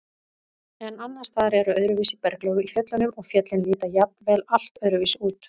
En annars staðar eru öðruvísi berglög í fjöllunum og fjöllin líta jafnvel allt öðruvísi út.